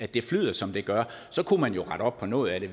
det flyder som det gør kunne man jo rette op på noget af det